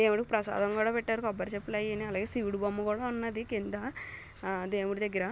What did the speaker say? దేవుడికి ప్రసాదం కూడా పెట్టారు కొబ్బరి చిప్పలు అయిని అలా శివుడి బొమ్మ కూడా ఉన్నది కింద ఆ దేవుడి దగ్గర.